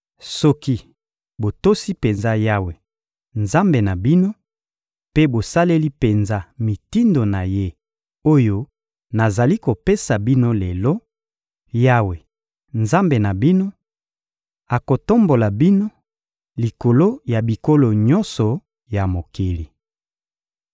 Soki botosi penza Yawe, Nzambe na bino, mpe bosaleli penza mitindo na Ye oyo nazali kopesa bino lelo; Yawe, Nzambe na bino, akotombola bino likolo ya bikolo nyonso ya mokili.